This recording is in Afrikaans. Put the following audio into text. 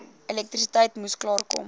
elektrisiteit moes klaarkom